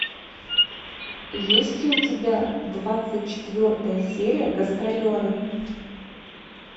есть ли у тебя двадцать четвертая серия гастролеры